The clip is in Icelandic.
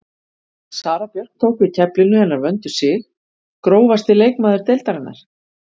Sara Björk tók við af keflinu hennar Vöndu Sig Grófasti leikmaður deildarinnar?